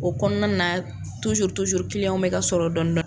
O kɔnɔna na bɛ ka sɔrɔ dɔɔni dɔɔni.